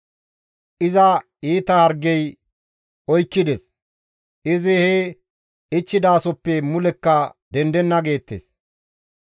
«Iza iita hargey oykkides; izi he ichchidasoppe mulekka dendenna» geettes.